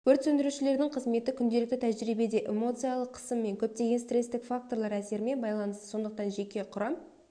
өрт сөндірушілердің қызметі күнделікті тәжірибеде эмоциялық қысым және көптеген стресстік факторлар әсерімен байланысты сондықтан жеке құрам